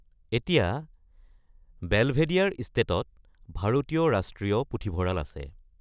এতিয়া, বেলভেডিয়াৰ ইষ্টেটত ভাৰতীয় ৰাষ্ট্ৰীয় পুথিভঁৰাল আছে।